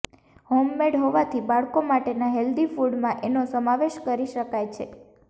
homemade હોવાથી બાળકો માટેના હેલ્ધી ફૂડમાં એનો સમાવેશ કરીશકાય છે